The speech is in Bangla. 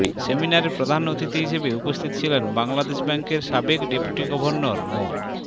সেমিনারে প্রধান অতিথি হিসেবে উপস্থিত ছিলেন বাংলাদেশ ব্যাংকের সাবেক ডেপুটি গভর্নর মো